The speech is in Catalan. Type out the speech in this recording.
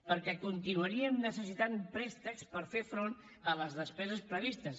perquè continuaríem necessitant préstecs per fer front a les despeses previstes